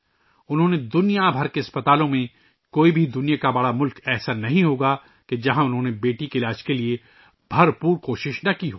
انہوں نے دنیا بھر کے اسپتالوں میں ، دنیا کا کوئی بڑا ملک نہیں ہوگا، جہاں انہوں نے اپنی بیٹی کے علاج کے لئے پوری کوشش نہ کی ہو